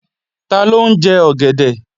Taló ń jẹ ọ̀gẹ̀dẹ̀?